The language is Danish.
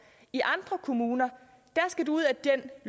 i andre kommuner skal du ud af den